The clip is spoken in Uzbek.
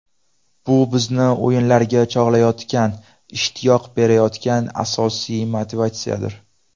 Bu bizni o‘yinlarga chog‘layotgan, ishtiyoq berayotgan asosiy motivatsiyadir.